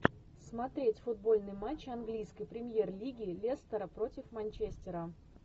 смотреть футбольный матч английской премьер лиги лестера против манчестера